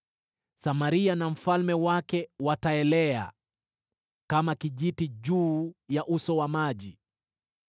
Samaria na mfalme wake wataelea kama kijiti juu ya uso wa maji.